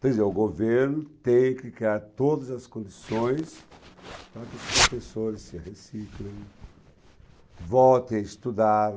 Quer dizer, o governo tem que criar todas as condições para que os professores se reciclem, voltem a estudar.